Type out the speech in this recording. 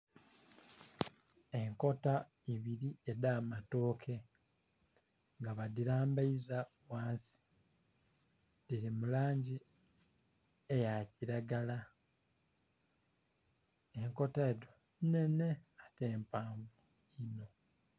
Enkota ibili edh'amatooke nga badhilambaiza ghansi dhili mu langi eya kilagala, enkota edho nnhenhe ate mpanvu.